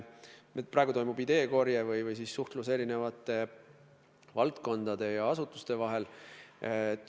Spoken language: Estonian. Praegu toimub ideekorje, suhtlus eri valdkondade ja asutuste vahel.